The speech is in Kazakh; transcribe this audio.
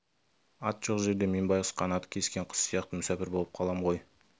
ат жоқ жерде мен байғұс қанаты кескен құс сияқты мүсәпір болып қалам ғой